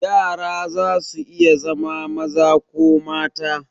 Yara zasu iya zama maza ko mata.